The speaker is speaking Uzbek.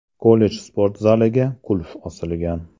Kollej sport zaliga qulf osilgan.